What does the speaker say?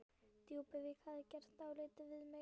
Djúpuvík hefði gert dálítið við mig.